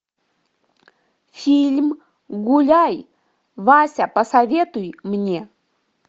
фильм гуляй вася посоветуй мне